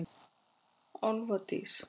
Álfdís